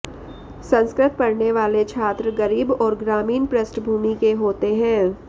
संस्कृत पढने वाले छात्र गरीब और ग्रामीण पृष्ठभूमि के होते हैं